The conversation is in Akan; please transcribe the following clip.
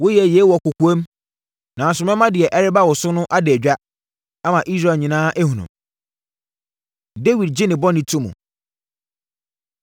Woyɛɛ yei wɔ kɔkoam, nanso mɛma deɛ ɛreba wo so no ada dwa, ama Israel nyinaa ahunu.” Dawid Gye Ne Bɔne To Mu